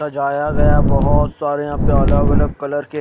सजाया गया बहोत सारे यहा पे अलग अलग कलर के--